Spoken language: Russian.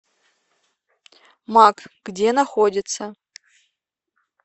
мак где находится